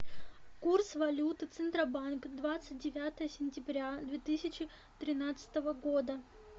курс валюты центробанк двадцать девятое сентября две тысячи тринадцатого года